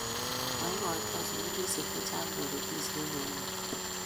maikoito sukulishek che chang toretishek ne yame